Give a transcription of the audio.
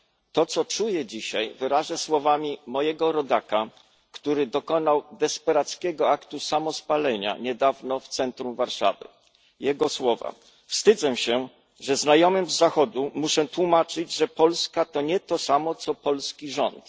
To, co czuję dzisiaj, wyrażę słowami mojego rodaka, który dokonał desperackiego aktu samospalenia niedawno w centrum Warszawy Wstydzę się, że znajomym z Zachodu muszę tłumaczyć, że Polska to nie to samo, co polski rząd.